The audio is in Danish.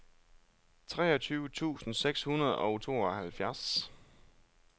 treogtyve tusind seks hundrede og tooghalvfjerds